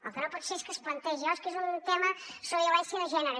el que no pot ser és que es plantegi oh és que és un tema sobre violència de gènere